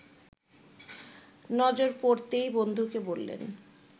নজর পড়তেই বন্ধুকে বললেন